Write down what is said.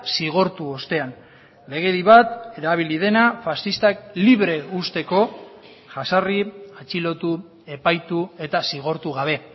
zigortu ostean legedi bat erabili dena faxistak libre uzteko jazarri atxilotu epaitu eta zigortu gabe